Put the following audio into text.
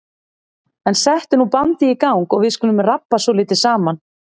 En settu nú bandið í gang og við skulum rabba svolítið saman.